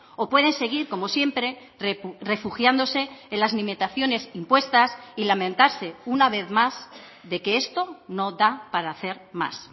o pueden seguir como siempre refugiándose en las limitaciones impuestas y lamentarse una vez más de que esto no da para hacer más